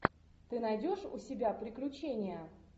ты найдешь у себя приключения